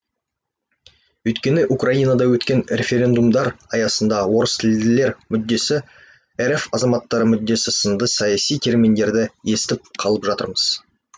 өйткені украинада өткен референдумдар аясында орыстілділер мүддесі рф азаматтары мүддесі сынды саяси терминдерді естіп қалып жатырмыз